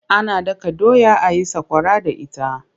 Ana daka doya a yi sakwara da ita.